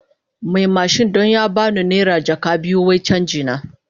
Mai mashin don ya ba no naira jaka biyu wai canji na.